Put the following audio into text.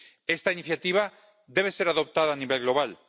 Esta iniciativa debe ser adoptada a nivel global.